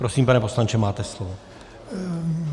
Prosím, pane poslanče, máte slovo.